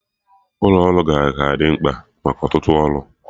Ụlọ ọrụ ka ga-adị mkpa maka ọtụtụ ọrụ